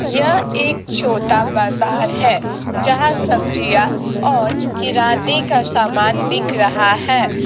यह एक छोटा बाजार है जहां सब्जियां और किराने का सामान बिक रहा है।